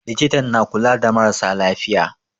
Likitan na kula da marasa lafiya.